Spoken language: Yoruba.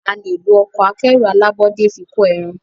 a lẹ ló Ọkọ̀ akẹ́rù alábọ́dé fí kọ èràn.